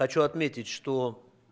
хочу отметить что